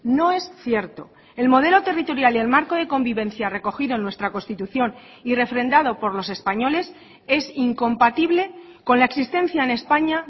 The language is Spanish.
no es cierto el modelo territorial y el marco de convivencia recogido en nuestra constitución y refrendado por los españoles es incompatible con la existencia en españa